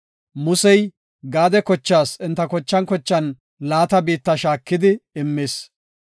Musey Gaade kochaas enta kochan kochan laata biitta shaakidi immis.